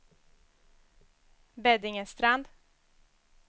Beddingestrand